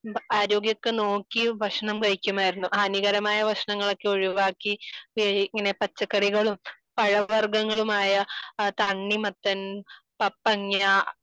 ആരോഗ്യമൊക്കെ നോക്കി ഭക്ഷണം കഴിക്കുമായിരുന്നു. ഹാനികരമായ ഭക്ഷണങ്ങൾ ഒക്കെ ഒഴിവാക്കി ഇങ്ങനെ പച്ചക്കറികളും പഴവർഗ്ഗങ്ങളും ആയ തണ്ണിമത്തൻ പപ്പങ്ങ